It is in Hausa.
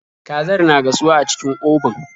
Kazar na gasuwa a cikin obun.